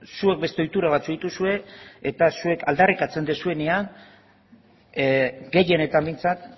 zuek beste ohitura batzuk dituzue eta zuek aldarrikatzen duzuenean gehienetan behintzat